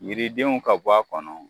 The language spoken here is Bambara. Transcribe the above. Yiridenw ka bɔ a kɔnɔ